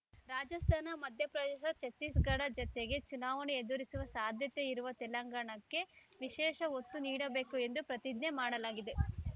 ರಾಜಸ್ಥಾನ ಮಧ್ಯಪ್ರದೇಶ ಛತ್ತೀಸ್‌ಗಢ ಜತೆಗೇ ಚುನಾವಣೆ ಎದುರಿಸುವ ಸಾಧ್ಯತೆ ಇರುವ ತೆಲಂಗಾಣಕ್ಕೆ ವಿಶೇಷ ಒತ್ತು ನೀಡಬೇಕು ಎಂದು ಪ್ರತಿಜ್ಞೆ ಮಾಡಲಾಗಿದೆ